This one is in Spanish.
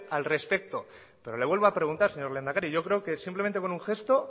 al respeto y le vuelvo a preguntar señor lehendakari yo creo que simplemente con un gesto